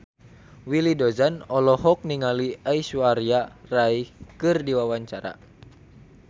Willy Dozan olohok ningali Aishwarya Rai keur diwawancara